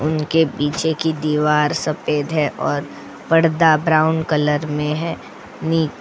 उनके पीछे की दीवार सफेद है और पर्दा ब्राउन कलर में है नी.